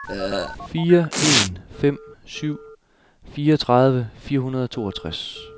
fire en fem syv fireogtredive fire hundrede og toogtres